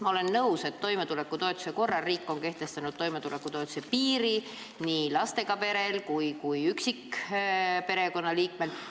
Ma olen nõus, et toimetulekutoetuse määramiseks on riik kehtestanud toimetulekutoetuse piiri nii lastega perele kui ka üksikperekonnaliikmele.